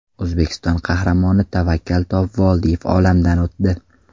O‘zbekiston Qahramoni Tavakkal Topvoldiyev olamdan o‘tdi.